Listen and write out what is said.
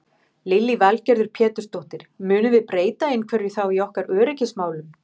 Lillý Valgerður Pétursdóttir: Munum við breyta einhverju þá í okkar öryggismálum?